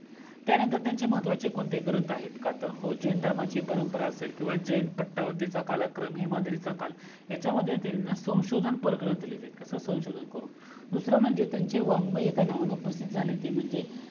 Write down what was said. त्यानंतर त्यांचे कोणते महत्वाचे ग्रंथ आहेत का तर हो जैन धर्माची परंपरा असेल किव्हा जैन पटवधीचा कलाक्रम हेमाद्री चा काल ह्याच्यामध्ये त्यांनी संशोधन क्रम ग्रंथ लिहिले आहेत कसं संशोधन करून दूसरा म्हणजे त्यांचे काही वगमय एका नावाने प्रसिद्ध झालेत ते म्हणजे